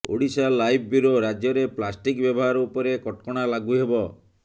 Odisha live bureau ରାଜ୍ୟରେ plastic ବ୍ୟବହାର ଉପରେ କଟକଣା ଲାଗୁ ହେବ